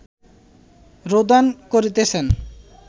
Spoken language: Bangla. রোদন করিতেছেন